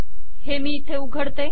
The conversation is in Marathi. हे मी इथे उघडते